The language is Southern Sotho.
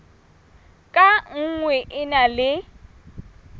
ka nngwe e na le